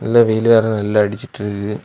இதுல வெயில் வேர நல்ல அடிச்சிட்டிருக்குது.